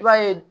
I b'a ye